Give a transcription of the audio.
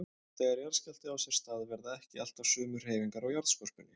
Þegar jarðskjálfti á sér stað verða ekki alltaf sömu hreyfingar á jarðskorpunni.